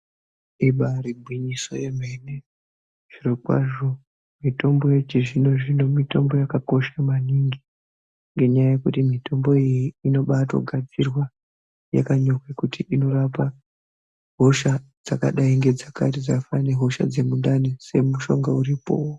Ibari gwinyiso remene zvirokwazvo mitombo yechizvino zvino mitombo yakakosha maningi ngekuti mitombo iyi inogadzirwa yakanyorwa kuti inorapa hosha dzakaita sehosha yemundani kune mushonga uripo.